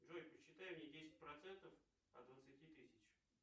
джой посчитай мне десять процентов от двадцати тысяч